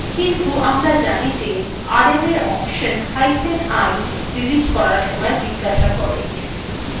কিন্তু আমরা জানি যে rm command we option hyphen i delete করার সময় জিজ্ঞাসা করে